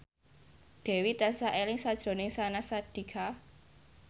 Dewi tansah eling sakjroning Syahnaz Sadiqah